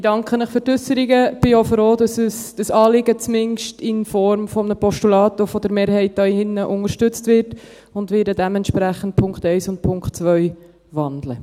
Ich danke Ihnen für die Ausführungen und bin auch froh, dass das Anliegen zumindest in Form eines Postulats von einer Mehrheit hier drin unterstützt wird, und werde dementsprechend den Punkt 1 und den Punkt 2 wandeln.